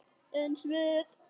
Eins við